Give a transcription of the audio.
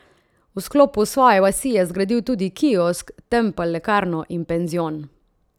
V sklopu svoje vasi je zgradil tudi kiosk, tempelj lekarno in penzion.